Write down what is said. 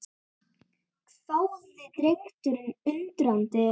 hváði drengurinn undrandi.